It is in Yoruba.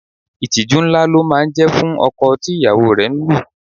Ìtìjú ńlá ló máa ń jẹ́ fún ọkọ tí ìyàwó rẹ̀ ń lù